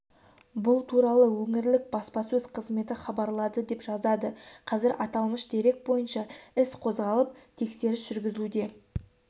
бұл туралы өңірлік баспасөз қызметі хабарлады деп жазады қазір аталмыш дерек бойынша іс қозғалып тексеріс жүргізілуде